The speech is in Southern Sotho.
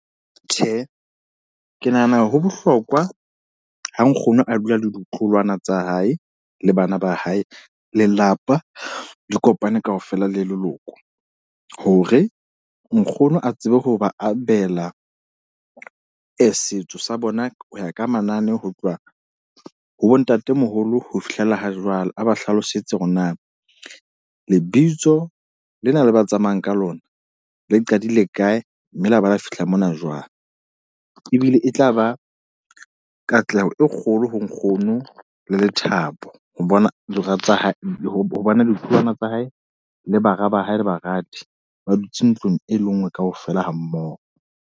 Tjhe, ke nahana ho bohlokwa ho nkgono a dula le ditloholwana tsa hae, le bana ba hae. Lelapa le kopane kaofela le leloko. Hore nkgono a tsebe ho ba abela setso sa bona ho ya ka manane ho tloha ho bontatemoholo ho fihlela ha jwale. A ba hlalosetse hore na lebitso lena le ba tsamayang ka lona le qadile kae, mme la ba lo fihla mona jwang. Ebile e tla ba katleho e kgolo ho nkgono, le lethabo. Ho bona dira tsa hae ho bona ditloholwana tsa hae, le bara ba hae le baradi ba dutse ntlong e le nngwe ka ofela ha mmoho.